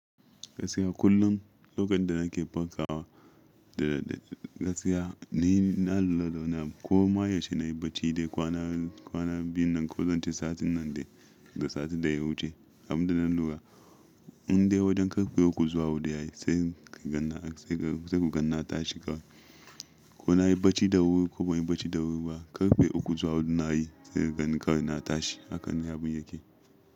Gaskiya kullum lokacin da nake fantsawa da gaskiya ni na lura da wani abun ko ma yaushe na yi bacci dai kwana, kwana biyun nan ko don ce satin nan dai da satin da ya wuce. Abun da na lura in dai wajen karfe uku zuwa hudu ya yi sai ku ganna tashi ka. Ko na yi bacci da wuri ko ban yi bacci da wuri ba karfe uku zuwa hudu na yi sai ganni kar na tashi a kan yabon yake.